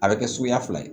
A bɛ kɛ suguya fila ye